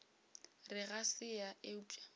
re ga se yena eupša